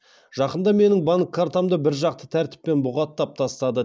жақында менің банк картамды біржақты тәртіппен бұғаттап тастады